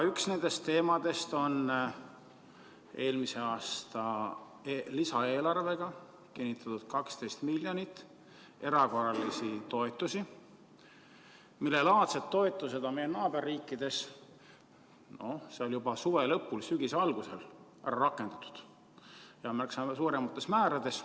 Üks nendest teemadest on eelmise aasta lisaeelarvega kinnitatud 12 miljonit erakorralisi toetusi, millelaadseid toetusi on meie naaberriikides juba suve lõpul ja sügise alguses rakendatud märksa suuremates määrades.